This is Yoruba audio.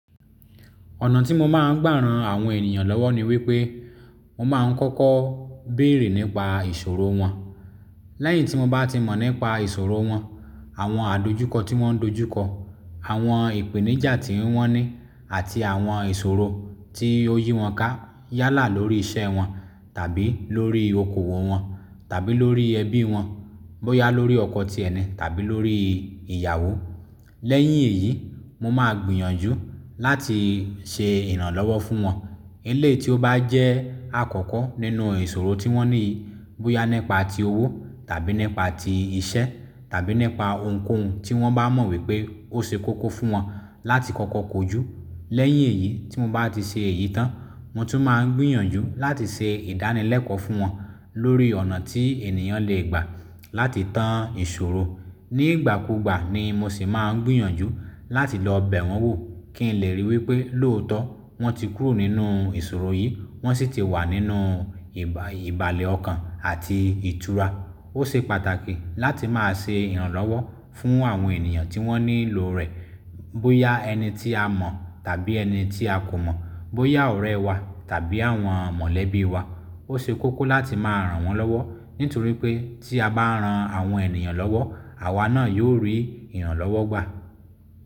Ọ̀nà tí mo máa ń gbàran àwọn ènìyàn lọ́wọ́ ni wípé, mo máa ń kọ́kọ́ bèrè nípa ìṣòro wọn. Lẹ́yìn tí mo bá ti mọ̀ nípa ìṣòro wọn, àwọn àdojúkọ tí wọ́n dojúkọ, àwọn ìpèníjà tí wọ́n ní àti àwọn ìṣòro tí oyi wọn ká yálà lórí iṣẹ́ wọn tàbí lórí okoòwò wọn tàbí lórí ẹbí wọn, bóyá lórí ọkọ tí ẹni tàbí lórí ìyàwó. Lẹ́yìn èyí, mo máa gbìyànjú láti ṣe ìrànlọ́wọ́ fún wọn. Eleyi tí ó bá jẹ́ àkọ́kọ́ nínú ìṣòro tí wọ́n ní, bóyá nípa ti owó tàbí nípa ti iṣẹ́ tàbí nípa ohunkóhun tí wọ́n bá mọ̀ wípé ó ṣe kókó fún wọn láti kọ́kọ́ kojú. Lẹ́yìn èyí tí mo bá ti ṣe èyí tán, mo tún máa ń gbìyànjú láti ṣe ìdánilẹ́kọ̀ọ́ fún wọn lórí ọ̀nà tí ènìyàn lè gbà láti tán ìṣòro. Ní ìgbà kúùgbà ni mo sì máa ń gbìyànjú láti lọ bẹ̀ wọ́n wò kí n lè ríi wípé lóòótọ́ wọ́n ti kúrò nínú ìṣòro yìí, wọ́n sì ti wà nínú ìbàlẹ̀ ọkàn àti ìtura. Ó ṣe pàtàkì láti máa ṣe ìrànlọ́wọ́ fún àwọn ènìyàn tí wọ́n nílò rẹ̀, bóyá ẹni tí a mọ̀ tàbí ẹni tí a kò mọ̀, bóyá ọ̀rẹ́ wa tàbí àwọn mọ̀lẹ́bí wa. Ó ṣe kókó láti máa ran wọ́n lọ́wọ́ nítorí pé tí a bá ran àwọn ènìyàn lọ́wọ́, àwa náà yóò rí ìrànlọ́wọ́ gbà.